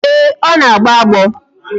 Ee, ọ na-agbo agbọ